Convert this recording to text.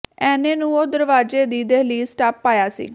ਐਨੇ ਨੂੰ ਉਹ ਦਰਵਾਜ਼ੇ ਦੀ ਦਿਹਲੀਜ਼ ਟੱਪ ਆਇਆ ਸੀ